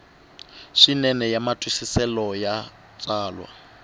swinene ya matwisiselo ya tsalwa